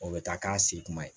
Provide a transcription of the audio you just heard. O bɛ taa k'a se kuma ye